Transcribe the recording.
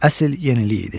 Əsil yenilik idi.